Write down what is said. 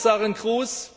Frau Kommissarin Kroes!